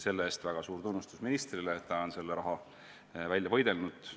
Selle eest väga suur tunnustus ministrile, et ta on selle raha välja võidelnud.